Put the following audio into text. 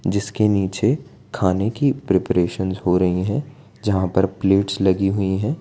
जिसके नीचे खाने की प्रिपरेशनस हो रही हैं जहां पर प्लेट्स लगी हुई हैं।